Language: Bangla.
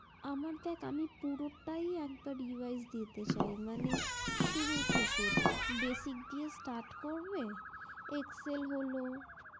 আমার দেখ আমি পুরোটাই একবারে revise দিতে চাই মানে শুরু থেকে basic দিয়ে start করবে excel হলো